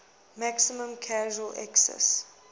maximum casual excise